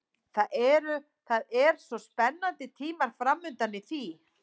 Svo það eru spennandi tímar framundan í því.